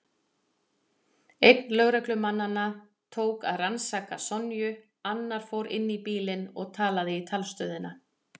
Einn lögreglumannanna tók að rannsaka Sonju, annar fór inn í bílinn og talaði í talstöðina.